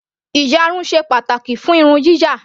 Ìyarun ṣe pàtàkì fún irun yíyà.